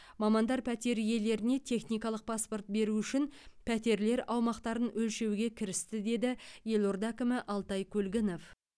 мамандар пәтер иелеріне техникалық паспорт беру үшін пәтерлер аумақтарын өлшеуге кірісті деді елорда әкімі алтай көлгінов